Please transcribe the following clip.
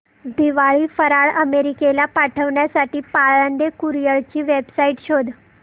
दिवाळी फराळ अमेरिकेला पाठविण्यासाठी पाळंदे कुरिअर ची वेबसाइट शोध